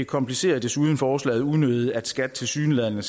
komplicerer desuden forslaget unødigt at skat tilsyneladende